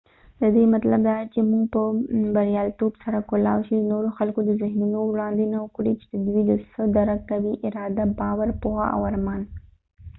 ددې مطلب دادي چې موږ په بریالیتوب سره کولای شو د نورو خلکو د ذهنونو وړاندوينه وکړو چې دوي څه درک کوي ، اراده ،باور، پوهه او ارمان